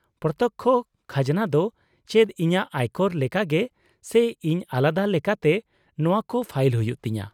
-ᱯᱨᱚᱛᱛᱚᱠᱠᱷᱚ ᱠᱷᱟᱡᱱᱟ ᱫᱚ ᱪᱮᱫ ᱤᱧᱟᱹᱜ ᱟᱭᱠᱚᱨ ᱞᱮᱠᱟᱜᱮ, ᱥᱮ ᱤᱧ ᱟᱞᱟᱫᱟ ᱞᱮᱠᱟᱛᱮ ᱱᱚᱶᱟᱠᱚ ᱯᱷᱟᱭᱤᱞ ᱦᱩᱭᱩᱜ ᱛᱤᱧᱟᱹ ?